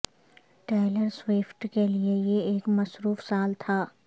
tailor Swift کے لئے یہ ایک مصروف سال تھا